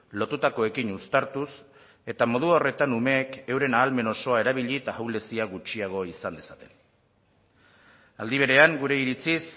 lotutakoekin uztartuz eta modu horretan umeek euren ahalmen osoa erabili eta ahulezia gutxiago izan dezaten aldi berean gure iritziz